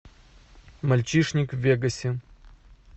мальчишник в вегасе